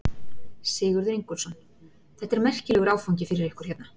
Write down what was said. Sigurður Ingólfsson: Þetta er merkilegur áfangi fyrir ykkur hérna?